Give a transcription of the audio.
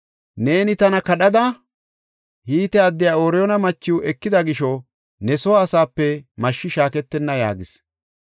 Neeni tana kadhada, Hite addiya Ooriyoona machiw ekida gisho ne soo asaape mashshi shaaketenna’ ” yaagees.